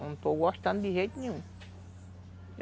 Não estou gostando de jeito nenhum.